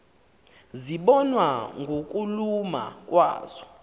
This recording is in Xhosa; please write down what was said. zibonwa ngokuluma kwazo